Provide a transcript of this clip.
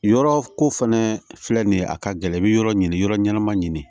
Yɔrɔ ko fɛnɛ filɛ nin ye a ka gɛlɛn i bi yɔrɔ ɲini yɔrɔ ɲɛnama ɲini